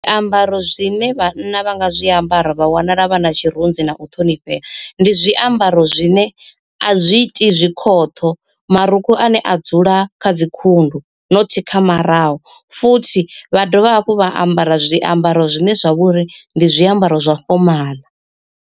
Zwiambaro zwine vhanna vha nga zwiambara vha vhonala vha na tshirunzi na u ṱhonifhea. Ndi zwiambaro zwine azwi iti zwikhoṱho marukhu ane a dzula kha dzi khundu not kha maraho, futhi vha dovha hafhu vha ambara zwiamba zwine zwa vha uri ndi zwiambaro zwa fomaḽa.